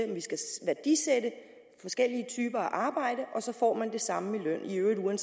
at værdisætte arbejde af samme værdi ville man